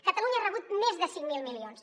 catalunya ha rebut més de cinc mil milions